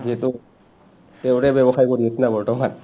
যিহেতু তেওঁৰে ব্য়বসায় কৰি আছোনা বৰ্তমান